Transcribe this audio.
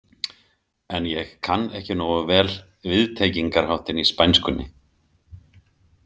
En ég kann ekki nógu vel viðtengingarháttinn í spænskunni.